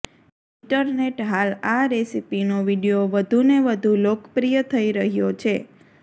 internet હાલ આ રેસીપીનો વિડીયો વધુને વધુ લોકપ્રિય થઇ રહ્યો છે